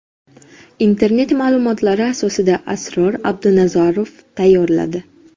Internet ma’lumotlari asosida Asror Abdunazarov tayyorladi.